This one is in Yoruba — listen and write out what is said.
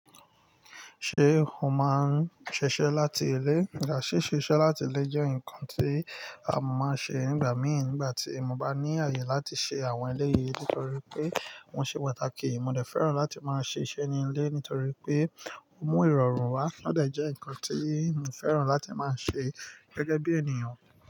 Ṣé o máa ń ṣiṣẹ́ láti ilé? Yeah, ṣíṣe iṣẹ́ láti ilé jẹ́ nǹkan tí mò máa ń ṣe nígbà mìí, nígbà tí mo bá ní àyè láti ṣe àwọn eléyìí, nítorí pé wọ́n ṣe pàtàkì, mo dẹ̀ fẹ́ràn láti máa ṣe iṣẹ́ ní ilé nítorí pé ó mú ìrọ̀rùn wá. Ó dẹ̀ jẹ́ ǹkan tí mo fẹ́ràn láti máa ṣe gẹ́gẹ́ bí ènìyàn.